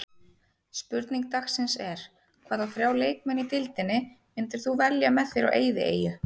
Spurning dagsins er: Hvaða þrjá leikmenn í deildinni myndir þú velja með þér á eyðieyju?